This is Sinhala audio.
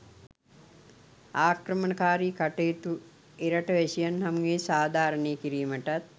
ආක්‍රමණකාරී කටයුතු එරට වැසියන් හමුවේ සාධාරණය කිරීමටත්